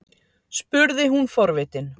spurði hún forvitin.